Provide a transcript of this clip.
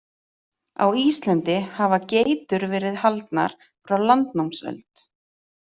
Á Íslandi hafa geitur verið haldnar frá landnámsöld.